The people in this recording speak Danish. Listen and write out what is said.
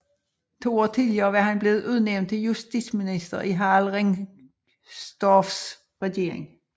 To år tidligere var han blevet udnævnt til justitsminister i Harald Ringstorffs regering